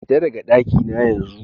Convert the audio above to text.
Fita daka ɗaki na yanzu!